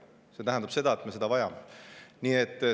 See tähendab, et me vajame seda.